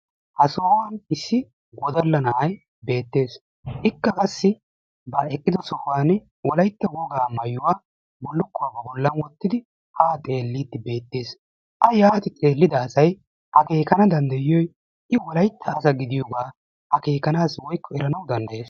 ha sohuwan issi wodalla na'ay beettees. ikka qassi ha eqqido sohuwan wolaytta wogaa mayuwa bullukkuwa ba bollan wottidi haa xeelliiddi beettees. a yaati xeellida asay akeekana danddayiyoogee i wolaytta asa gidiyogee akeekanaassi woyikko eranawu danddayees.